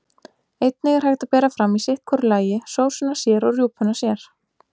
Einnig er hægt að bera fram í sitt hvoru lagi, sósuna sér og rjúpuna sér.